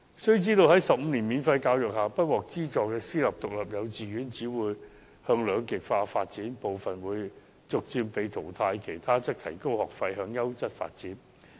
須知道，在15年免費教育下，不獲資助的私營獨立幼稚園只會向兩極化發展，而部分更會被逐漸淘汰，餘下的自然會提高學費，向優質發展。